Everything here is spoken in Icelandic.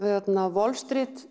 Wall Street